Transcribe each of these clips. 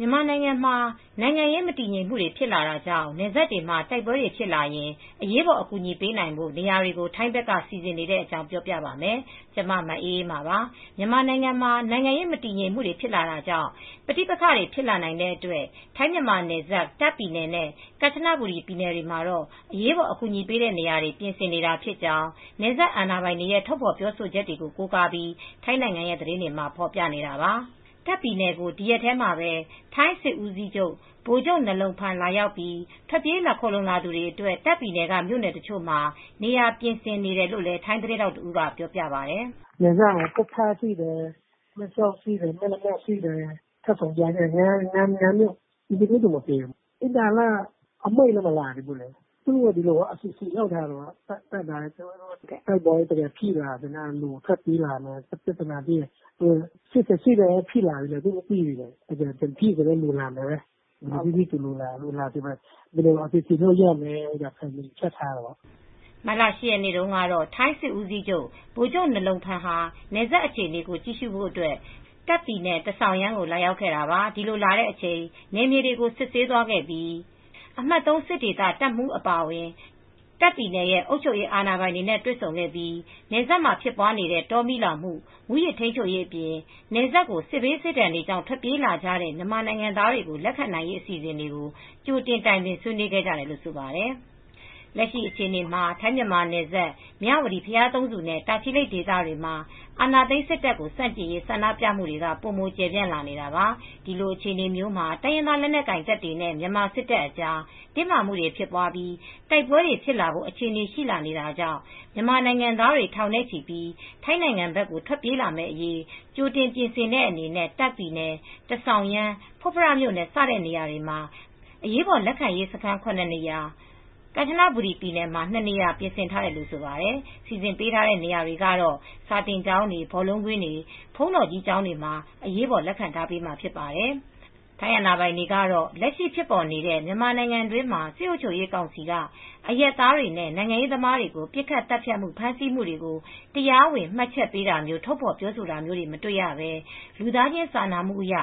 မြန်မာနိုင်ငံမှာ နိုင်ငံရေး မတည်ငြိမ်မှုတွေ ဖြစ်လာတာကြောင့် နယ်စပ်တွေမှာ တိုက်ပွဲတွေဖြစ်လာရင် အရေးပေါ် အကူညီပေးနိုင်ဖို့ နေရာတွေကို ထိုင်းဘက်က စီစဉ်နေတဲ့အကြောင်းကို ပြောပြပါမယ်။ ဗွီအိုအေမြန်မာပိုင်း သတင်းထောက် မအေးအေးမာက သတင်းပေးထားပါတယ်။ မြန်မာနိုင်ငံမှာ နိုင်ငံရေး မတည်ငြိမ်မှုတွေ ဖြစ်လာတာကြောင့် ပဋိပက္ခတွေဖြစ်လာနိုင်တဲ့အတွက် ထိုင်း-မြန်မာနယ်စပ် တာ့ခ်ပြည်နယ်နဲ့ ကမ်ချဘူရီ ပြည်နယ်တွေမှာတော့ အရေးပေါ် အကူညီပေးတဲ့နေရာတွေ ပြင်ဆင်နေတာဖြစ်ကြောင်း နယ်စပ် အာဏာပိုင်တွေရဲ့ ထတ်ဖေါ်ပြောဆိုချက်တွေကို ကိုးကားပြီး ထိုင်းနိုင်ငံသတင်းတွေမှာ ဖေါ်ပြနေတာပါ။ တာ့ခ်ပြည်နယ်ကို ဒီရက်ထဲ ထိုင်းစစ်ဦးစီးချုပ် Gen. Narong Phan Jitkaewtha လာရောက်ပြီး ထွက်ပြေးခိုလှုံလာသူတွေအတွက် တာ့ခ်ပြည်နယ်က မြို့နယ်တချို့မှာ နေရာပြင်ဆင်နေတယ်လို့ ထိုင်းသတင်းထောက်တဦးက အခုလိုပြောပြပါတယ်။ "ဖွတ်ဖရ ရှိတယ်၊ မယ်လမ ရှိတယ်၊ မဲဆောက်၊ တန်ဆောင်ရမ်း စတဲ့ မြို့နယ်ရှိတယ်။ အင်တာဗျူးတော့မပေးဘူ။း အမိန့်ကတော့ မထွက်လာသေးဘူး။ ဒါပေမဲ့ အစီအစဉ်လုပ်ထားတာပေါ့။ တိုက်ပွဲတွေဖြစ်လာရင် လူတွေထွက်ပြေးလာနိုင်တယ်။ ပြဿနာဖြစ်တာမျိုး၈၈တုန်းကလို့ ထွက်ပြေးလာတာမျိုး ဖြစ်လာမလား၊ သူတို့ မသိဘူးပေါ့။ လူတွေလာမှာကို တွက်ထားပြီး ဘယ်လိုပြင်ဆင်လို့ရမလဲ တွက်ထားတာပေါ့။" မတ်လ ၈ ရက်နေ့က ထိုင်း စစ်ဦးစီးချုပ် ဗိုလ်ချုပ် Narong Phan Jitkaewtha ဟာ နယ်စပ်အခြေအနေကို ကြည့်ဖို့ရဟတ်ယာဉ်နဲ့ တာခ့်ပြည်နယ်၊ ထဆောင်ရမ်းကို လာရောက်ခဲ့တာပါ။ ဒီလိုလာတဲ့အချိန်မှာ နယ်မြေတွေကို စစ်ဆေးသွားခဲ့ပြီး အမှတ် ၃ စစ်ဒေသ တပ်မှူးအပါအဝင် တာ့ခ်ပြည်နယ်အုပ်ချုပ်ရေးအာဏာပိုင်တွေနဲ့ တွေ့ဆုံခဲ့ပြီး နယ်စပ်မှာဖြစ်ပွားနေတဲ့ တောမီးလောင်မှု မူးယစ်ထိမ်းချုပ်ရေးအပြင် နယ်စပ်ကို စစ်ဘေးစစ်ဒဏ်တွေကြောင့်ထွက်ပြေးလာကြတဲ့ မြန်မာနိုင်ငံသားတွေကို လက်ခံနိုင်ရေးအစီစဉ်တွေကို ကြိုတင်တိုင်ပင်ဆွေးနွေးခဲ့ကြတယ်လို့ ဆိုပါတယ်။ လက်ရှိအခြေအနေမှာ ထိုင်းမြန်မာနယ်စပ် မြဝတီ -ဘုရားသုံးဆူနဲ့တာချီလိတ် ဒေသတွေမှာ အာဏာသိမ်းစစ်တပ်ကို ဆန့်ကျင်ရေး ဆန္ဒပြမှုတွေ ပိုပို ကျယ်ပြန့်လာနေတာပါ။ ဒီအခြအနေမျိုးမှာ တိုင်းရင်းသား လက်နက်ကိုင်တပ်တွေနဲ့ မြန်မာစစ်တပ်အကြား တင်းမာမှုတွေဖြစ်ပွားပြီး တိုက်ပွဲတွေဖြစ်လာဖို့ အခြေအနေရှိလာနေတာကြောင့် မြန်မာနိုင်ငံသားတွေ ထောင်နဲ့ချီ ထိုင်းနိုင်ငံဘက်ကို ထွက်ပြေးလာမယ့်အရေး ကြိုတင်ပြင်ဆင်တဲ့အနေနဲ့တပ်ပြည်နယ်၊ ထဆောင်ရမ် ၊ ဖွတ်ဖမြို့နယ် စတဲ့နေရာတွေမှာ အရေးပေါ်လက်ခံရေးစခန်း ၇ နေရာ ကန်ချနဘူရီပြည်နယ်မှာ နှစ်နေရာ ပြင်ဆင်ထားတယ်လို့ ဆိုပါတယ်။ စီစဉ်ပေးတဲ့နေရာတွေကတော့ စာသင်ကျောင်းတွေ၊ ဘောလုံးကွင်းတွေ၊ ဘုန်းတော်ကြီးကျောင်းတွေမှာ အရေးပေါ်လက်ခံထားပေးမှာဖြစ်ပါတယ်။ ထိုင်းအာဏာပိုင်တွေကတော့ လက်ရှိဖြစ်ပေါ်နေတဲ့ မြန်မာနိုင်ငံတွင်းမှာ စစ်အုပ်ချုပ်ကောင်စီက အရပ်သားတွေနဲ့ နိုင်ငံရေးသမားတွေကို ပစ်ခတ်သတ်ဖြတ်မှု၊ ဖမ်းဆီးမှုတွေကို တရားဝင်မှတ်ချက်ပေးတာမျိုး ထုတ်ဖေါ်ပြောဆိုတာမျိုး မတွေ့ရဘဲ လူသားချင်း စာနာမှုအရ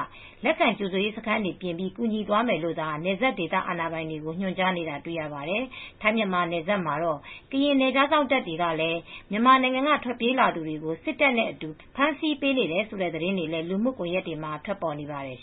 လက်ခံကြိုဆိုရေးစခန်းတွေ ပြင်ပြီး ကူညီသွားမယ်လို့သာ နယ်စပ်ဒေသ အာဏာပိုင်တွေကို ညွှန်ကြားနေတာတွေ့ရပါတယ်။ ထိုင်းမြန်မာနယ်စပ်မှာတော့ ကရင်နယ်ခြားစောင့်တပ်တွေကလည်း မြန်မာနိုင်ငံက ထွက်ပြေးလာသူတွေကို စစ်တပ်နဲ့အတူ ဖမ်းဆီးပေးနေတယ်ဆိုတဲ့သတင်းတွေလည်း လူမှုကွန်ယက်တွေမှာ ထွက်ပေါ်နေပါတယ်